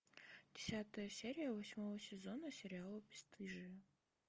десятая серия восьмого сезона сериала бесстыжие